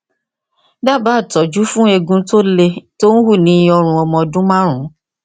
dábàá ìtọjú fún eegun tó lé tó ń hù ní ọrùn ọmọ ọdún márùnún